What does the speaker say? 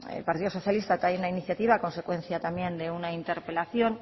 el partido socialista trae una iniciativa a consecuencia también de una interpelación